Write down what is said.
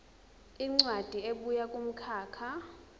incwadi ebuya kumkhakha